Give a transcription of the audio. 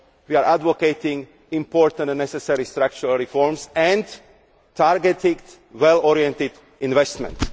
We are advocating important and necessary structural reforms and targeted, well oriented investment.